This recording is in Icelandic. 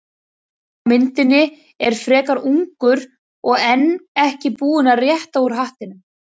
Sá á myndinni er frekar ungur og enn ekki búinn að rétta úr hattinum.